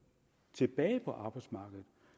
tilbage på arbejdsmarkedet